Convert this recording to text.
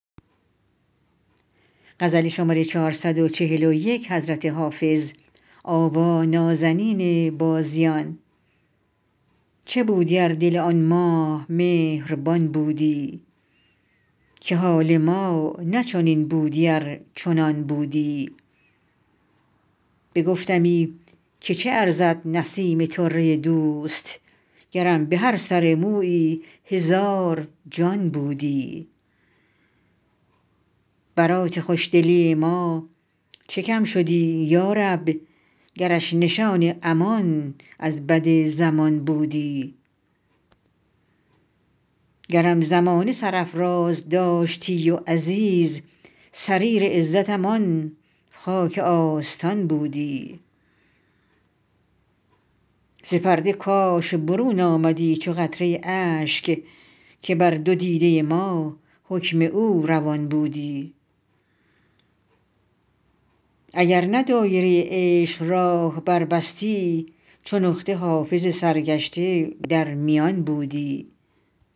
چه بودی ار دل آن ماه مهربان بودی که حال ما نه چنین بودی ار چنان بودی بگفتمی که چه ارزد نسیم طره دوست گرم به هر سر مویی هزار جان بودی برات خوش دلی ما چه کم شدی یا رب گرش نشان امان از بد زمان بودی گرم زمانه سرافراز داشتی و عزیز سریر عزتم آن خاک آستان بودی ز پرده کاش برون آمدی چو قطره اشک که بر دو دیده ما حکم او روان بودی اگر نه دایره عشق راه بربستی چو نقطه حافظ سرگشته در میان بودی